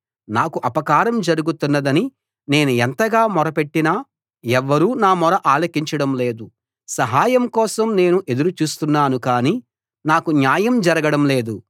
నాకు అపకారం జరుగుతున్నదని నేను ఎంతగా మొరపెట్టినా ఎవ్వరూ నా మొర ఆలకించడం లేదు సహాయం కోసం నేను ఎదురు చూస్తున్నాను కానీ నాకు న్యాయం జరగడం లేదు